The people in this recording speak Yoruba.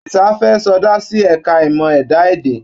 Àdìsá fẹ́ sọdá sí ẹ̀ka ìmọ̀ ẹ̀dá-èdè.